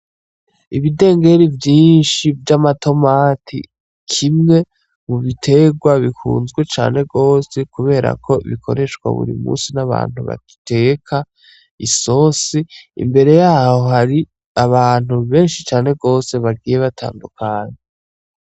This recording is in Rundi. Ibidengeri vyinshi vy'amatomati, kimwe mu biterwa bikunzwe cane gose kubera ko bikoreshwa buri munsi n'abantu bateka isosi. Imbere y'aho hari abantu benshi cane gose bagiye batandukanye.